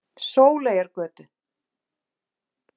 Sóleyjargötu